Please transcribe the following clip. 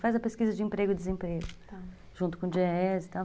Faz a pesquisa de emprego e desemprego, junto com o Diese e tal